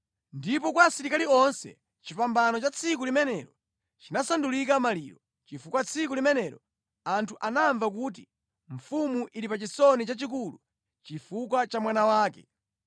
Ndipo kwa asilikali onse chipambano cha tsiku limenelo chinasandulika maliro, chifukwa tsiku limenelo anthu anamva kuti mfumu ili pa chisoni chachikulu chifukwa cha mwana wake.